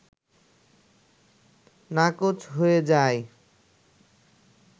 নাকচ হয়ে যায়